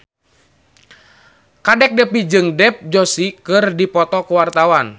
Kadek Devi jeung Dev Joshi keur dipoto ku wartawan